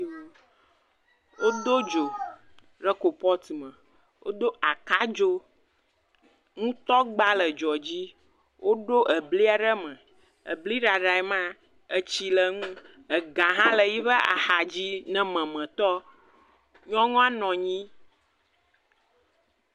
Wodo dzo ɖe kopɔt me wodo aka dzo, nutɔgba le dzo dzi, woɖo ebli ɖe eme, ebli ɖaɖa, etsi le eŋu, ega hã le yiƒe axa dzi ne memetɔ, nyɔnu aɖe hã nɔ anyi.